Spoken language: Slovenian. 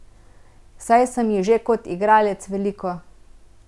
Saj sem ji že kot igralec veliko.